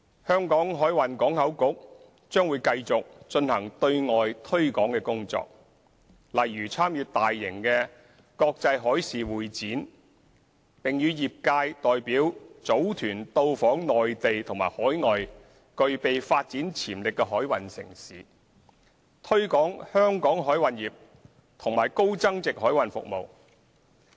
香港海運港口局將繼續進行對外推廣工作，例如參與大型的國際海事會展，並與業界代表組團到訪內地和海外具備發展潛力的海運城市，推廣香港海運業和高增值海運服務。